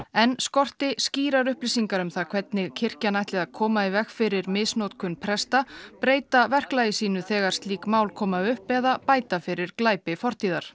enn skorti skýrar upplýsingar um það hvernig kirkjan ætli að koma í veg fyrir misnotkun presta breyta verklagi sínu þegar slík mál koma upp eða bæta fyrir glæpi fortíðar